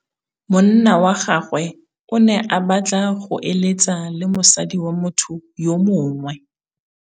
Monna wa gagwe o ne a batla go êlêtsa le mosadi wa motho yo mongwe.